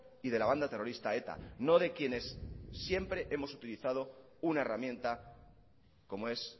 y de la banda terrorista eta no de quienes siempre hemos utilizado una herramienta como es